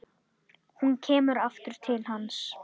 Hún kemur aftur til hans.